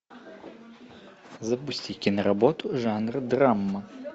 запусти киноработу жанр драма